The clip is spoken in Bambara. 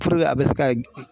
Puruke a bɛ se ka